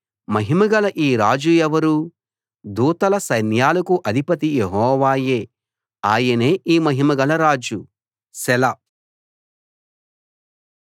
మహిమగల ఈ రాజు ఎవరు దూతల సైన్యాలకు అధిపతి యెహోవాయే ఆయనే ఈ మహిమగల రాజు సెలా